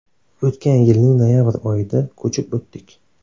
O‘tgan yilning noyabr oyida ko‘chib o‘tdik.